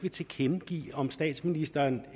vil tilkendegive om statsministeren